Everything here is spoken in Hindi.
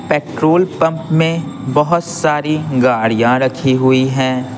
पेट्रोल पंप में बहुत सारी गाड़ियां रखी हुई हैं।